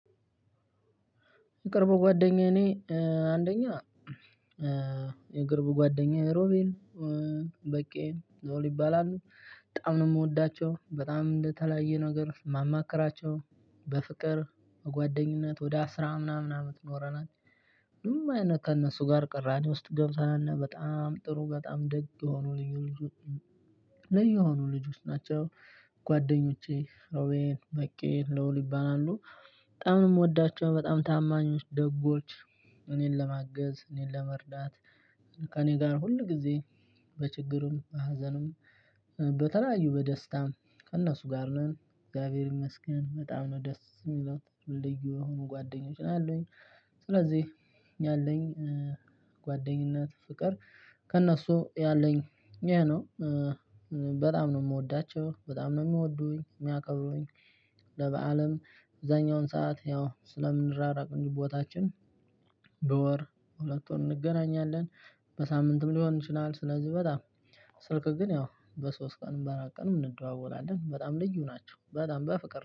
የቅርብ ጓደኛዬ እኔ አንደኛ የቅርብ ጓደኛዬ ሮቤል በቄ ሎል ይባላሉ። በጣም ነው የምወዳቸው በጣም እንደተለያየ ነገር ማማከራቸው በፍቅር በጓደኝነት ወደ አስራ ምናምን አመት ኖረናል። ምንም አይነት ከእነሱ ጋር ቅራኒ ውስጥ ገብተን አናቅ በጣም ጥሩ በጣም ደግ የሆኑ ልዩ ልዩ ልዩ ልጆች ናቸው። ጓደኞቼ ሮቤል፣ በቄ ሎል ይባላሉ። በጣም ነው የምወዳቸው፣ በጣም ታማኞች ደጎች እኔን ለማገዝ እኔን ለመርዳት ከእኔ ጋር ሁልጊዜ በችግርም በሀዘኑም በተለያዩ በደስታም ከእነሱ ጋር ነን እግዚአብሔር ይመስገን፣ በጣም ነው ደስ የሚለው፣ ልዩ የሆኑ ጓደኞች አሉኝ። ስለዚህ ያለኝ ጓደኝነት ፍቅር ከነሱ ያለኝ ይሄ ነው። በጣም ነው የምወዳቸው በጣም ነው የሚወዱኝ የሚያከብሩኝ ለበአልም አብዛኛውን ሰዓት ያው ስለምንራራቅ እንጂ ቦታችን በወር ሁለት ወር እንገናኛለን። በሳምንትም ሊሆን ይችላል። ስለዚህ በጣም ስልክ ግን ያው በሶስት ቀን በአራት ቀንም እንደዋወላለን። በጣም ልዩ ናቸው። በጣም በፍቅር